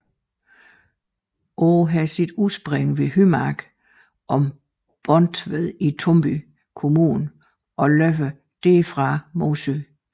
Åen har sit udspring ved Hymark og Borntved i Tumby kommune og løber derfra mod syd